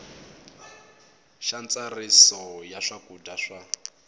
xa ntsariso ya swakudya swa